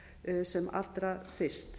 þingsályktunartillögu sem allra fyrst